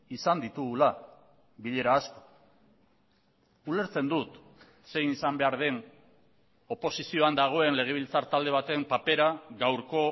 izan ditugula bilera asko ulertzen dut zein izan behar den oposizioan dagoen legebiltzar talde baten papera gaurko